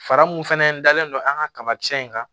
Fara mun fɛnɛ dalen don an ka kabakisɛ in kan